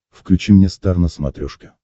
включи мне стар на смотрешке